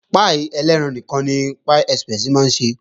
Páì elẹ́ran nìkan ni Pie express máa ń ṣe